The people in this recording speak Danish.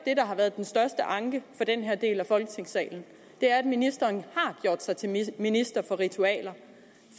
har været den største anke for den her del af folketingssalen er at ministeren har gjort sig til minister for ritualer